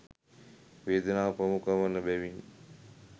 වේදනාව ප්‍රමුඛ වන බැවිනි.